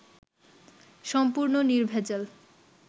সম্পূর্ণ নির্ভেজাল